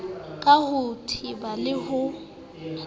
ka ho teba le ho